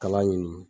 Kala ɲini